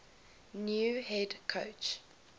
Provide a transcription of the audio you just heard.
new head coach